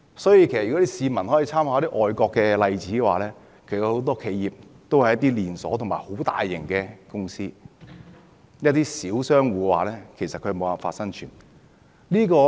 所以，如果市民參考外國一些例子的話，便會發現他們很多企業都是連鎖式或規模龐大的公司，至於那些小商戶，其實他們無法生存。